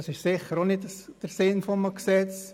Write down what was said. Das ist nicht der Sinn eines Gesetzes.